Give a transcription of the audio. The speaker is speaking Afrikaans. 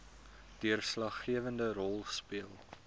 deurslaggewende rol speel